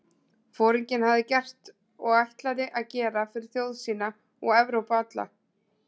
Foringinn hafði gert og ætlaði að gera fyrir þjóð sína og Evrópu alla?